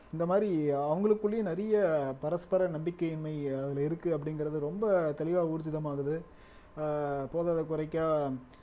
இந்த மாதிரி அவங்களுக்குள்ளேயும் நிறைய பரஸ்பர நம்பிக்கையின்மை அதுல இருக்கு அப்படிங்கிறது ரொம்ப தெளிவா ஊர்ஜிதமாகுது ஆஹ் போதாத குறைக்கம் ஆஹ்